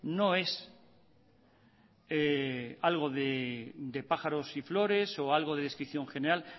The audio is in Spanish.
no es algo de pájaros y flores o algo de descripción general